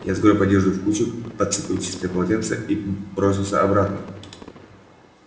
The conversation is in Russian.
я сгрёб одежду в кучу подцепил чистое полотенце и бросился обратно